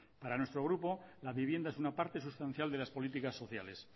para nuestro grupo la vivienda es una parte sustancial de las políticas sociales